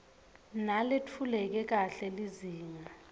naletfuleke kahle lizinga